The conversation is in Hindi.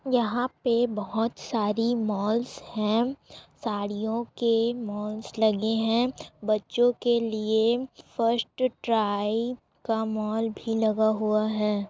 यहाँ पे बहोत सारी मालस हैं साड़ियों के मालस हैं बच्चों के लिए फर्स्ट ट्राइ का माल भी लगा हुआ--